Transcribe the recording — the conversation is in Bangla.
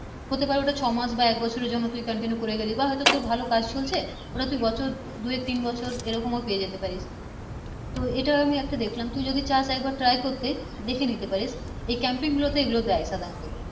হতে পারে ওটা ছো মাস এক বছর এর জন্য তুই continue করে গেলি বা তোর ভালো কাজ চলছে ওরা তুই বছর দু এক তিন বছর এরকম পেয়ে যেতে পারিস তো এটার আমি একটা দেখলাম তুই যদি চসা একবার try করতে দেখে নিতে পারিস এই camping গুলোতে এই গুলো দেয় সাধারনত